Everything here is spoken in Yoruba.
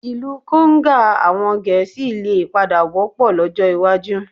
Ìlú konga àwọn Gẹ̀ẹ́sì lè padà wọ́pọ̀ lọ́jọ́ iwájú